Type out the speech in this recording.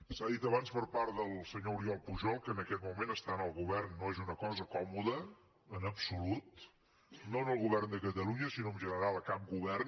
s’ha dit abans per part del senyor oriol pujol que en aquest moment estar en el govern no és una cosa còmoda en absolut no en el govern de catalunya sinó en general a cap govern